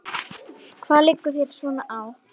Hvað liggur þér svona á?